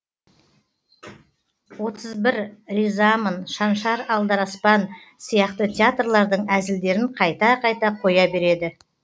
отыз бір ризамын шаншар алдараспан сияқты театрлардың әзілдерін қайта қайта қоя береді